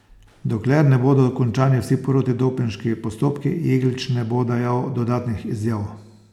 Dokler ne bodo končani vsi protidopinški postopki, Jeglič ne bo dajal dodatnih izjav.